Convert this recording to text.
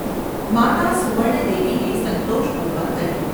’ માતા સુવર્ણદેવીએ સંતોષપૂર્વક કહ્યું.